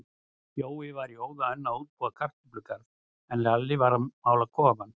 Jói var í óða önn að útbúa kartöflugarð, en Lalli var að mála kofann.